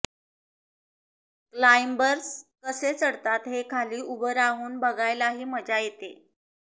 climbers कसे चढतात हे खाली उभं राहून बघायलाही मजा येते